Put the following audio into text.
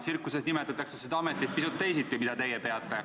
Tsirkuses nimetatakse seda ametit, mida teie peate, pisut teisiti.